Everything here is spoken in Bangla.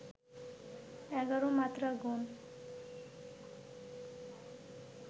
এগারো মাত্রা গোন